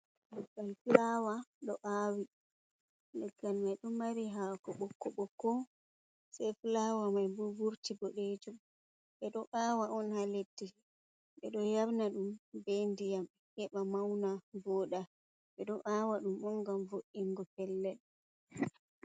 Leggal fuaawa ɗo aawi, leggal mai ɗo mari haako ɓokko-ɓokko sei fulaawa mai bo vurti bodeeej um ɓe ɗo aawa on haa leddi ɓe ɗo yarna ɗum bee ndiyam heɓa mawna, boo nda ɓe ɗo aawa ɗum on ngam vo’’ingo pellel.